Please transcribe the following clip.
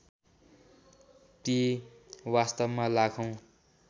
ती वास्तवमा लाखौँ